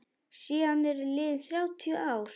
Síðan eru liðin þrjátíu ár.